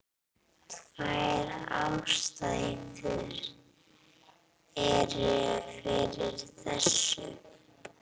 Tvær ástæður eru fyrir þessu.